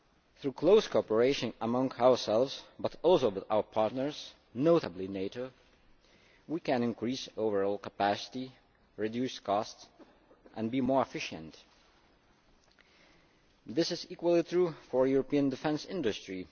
Through close cooperation among ourselves, but also with our partners, notably NATO, we can increase overall capacity, reduce costs and be more efficient. This is equally true for the European defence industry.